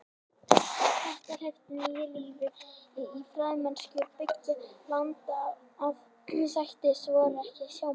Þetta hleypti nýju lífi í fræðimennsku beggja landa en sættir voru ekki í sjónmáli.